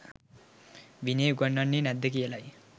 විනය උගන්වන්නේ නැද්ද කියලයි.